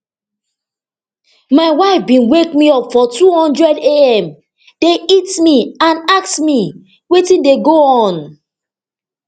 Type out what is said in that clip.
my wife bin wake me up for two hundredam dey hit me and ask wetin dey go on